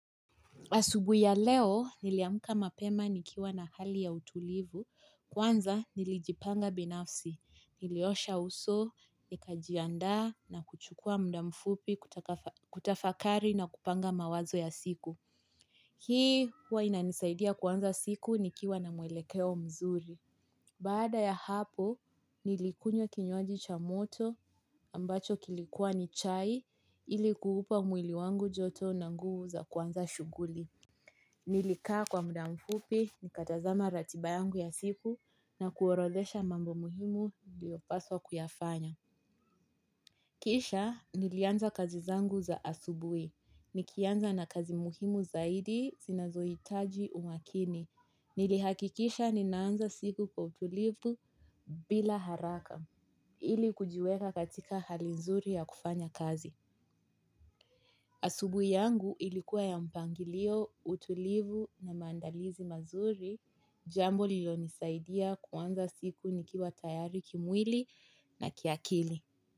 Asubuhi ya leo, niliamka mapema nikiwa na hali ya utulivu, kwanza nilijipanga binafsi, niliosha uso, nikajiandaa na kuchukua muda mfupi, kutafakari na kupanga mawazo ya siku. Hii huwa inanisaidia kuanza siku nikiwa na mwelekeo mzuri. Baada ya hapo, nilikunywa kinyuaji cha moto ambacho kilikuwa ni chai ilikuipa mwili wangu joto na nguvu za kwanza shughuli. Nilikaa kwa muda mfupi, nikatazama ratiba yangu ya siku na kuorodhesha mambo muhimu iliopaswa kuyafanya. Kisha, nilianza kazi zangu za asubuhi. Nikianza na kazi muhimu zaidi, zinazoitaji umakini. Nilihakikisha, ninaanza siku kwa utulivu bila haraka. Ili kujiweka katika hali nzuri ya kufanya kazi. Asubuhi yangu ilikuwa ya mpangilio, utulivu na maandalizi mazuri, jambo lilonisaidia kuanza siku nikiwa tayari kimwili na kiakili.